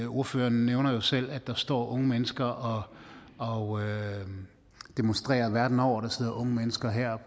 ordføreren nævner jo selv at der står unge mennesker og og demonstrerer verden over der sidder unge mennesker her